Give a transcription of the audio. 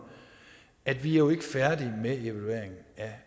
at vi jo ikke er færdige med evalueringen